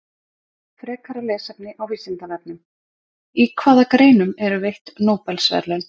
Frekara lesefni á Vísindavefnum: Í hvaða greinum eru veitt Nóbelsverðlaun?